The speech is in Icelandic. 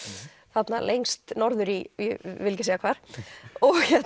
þarna lengst norður í ég vil ekki segja hvar